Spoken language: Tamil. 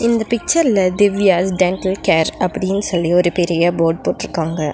இந்த பிச்சர்ல திவ்யாஸ் டெண்டல் கேர் அப்டினு சொல்லி ஒரு பெரிய போர்டு போட்ருக்காங்க.